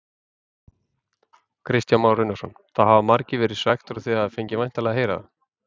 Kristján Már Unnarsson: Það hafa margir verið svekktir og þið fengið væntanlega að heyra það?